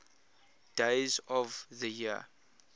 days of the year